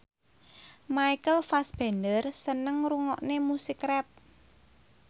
Michael Fassbender seneng ngrungokne musik rap